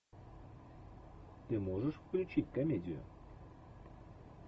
ты можешь включить комедию